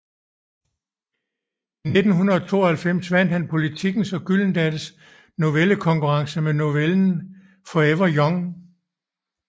I 1992 vandt han Politikens og Gyldendals novellekonkurrence med novellen Forever Young